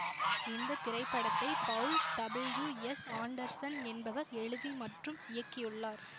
இந்த திரைப்படத்தை Paul W S Anderson என்பவர் எழுதி மற்றும் இயக்கியுள்ளார்